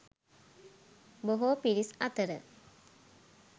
බොහෝ පිරිස් අතර